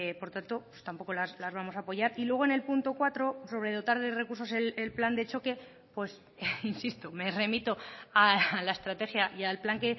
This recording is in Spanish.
por tanto tampoco las vamos a apoyar y luego en el punto cuatro sobre dotar de recursos el plan de choque insisto me remito a la estrategia y al plan